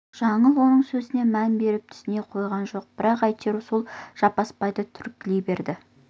жаңыл оның сөзіне мән беріп түсіне қойған жоқ бірақ әйтеуір сол жаппасбайды түрткілей берді